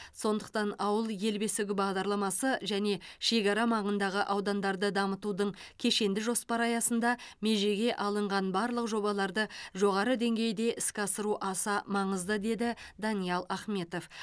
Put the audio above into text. сондықтан ауыл ел бесігі бағдарламасы және шекара маңындағы аудандарды дамытудың кешенді жоспары аясында межеге алынған барлық жобаларды жоғары деңгейде іске асыру аса маңызды деді даниал ахметов